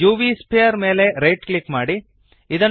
ಈಗ UV sphere ಮೇಲೆ right click ಮಾಡಿ